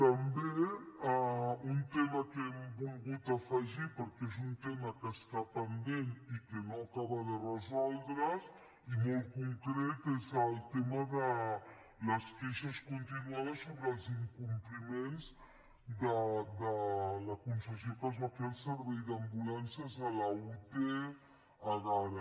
també un tema que hem volgut afegir perquè és un tema que està pendent i que no acaba de resoldre’s i molt concret és el tema de les queixes continuades sobre els incompliments de la concessió que es va fer al servei d’ambulàncies a la ute egara